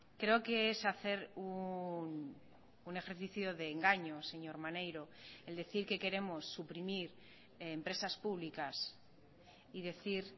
creo que es hacer un ejercicio de engaño señor maneiro el decir que queremos suprimir empresas públicas y decir